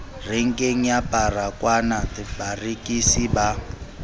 renkeng ya baragwanath barekisi ba